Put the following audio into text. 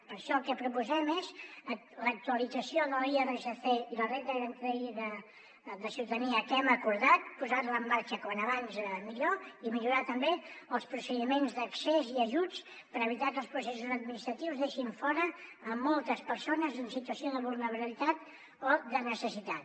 per això el que proposem és l’actualització de l’irsc i la renda garantida de ciutadania que hem acordat posar la en marxa com més aviat millor i millorar també els procediments d’accés i ajuts per evitar que els processos administratius deixin fora moltes persones en situació de vulnerabilitat o de necessitat